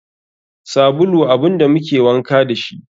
Sabulu abun da muke wanka dashi ne.